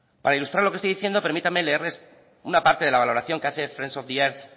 para ilustrar lo que estoy diciendo permítanme leerles una parte de la valoración que hace friends of the earth